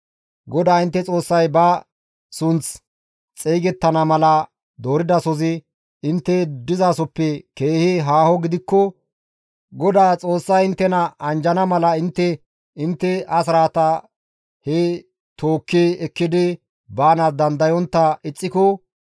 GODAA intte Xoossay ba sunththi xeygettana mala dooridasozi intte dizasoppe keehi haaho gidikko GODAA Xoossay inttena anjjana mala intte intte asraataa he tookki ekkidi baanaas dandayontta ixxiko,